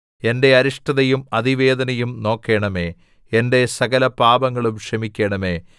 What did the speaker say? എന്റെ അരിഷ്ടതയും അതിവേദനയും നോക്കണമേ എന്റെ സകലപാപങ്ങളും ക്ഷമിക്കണമേ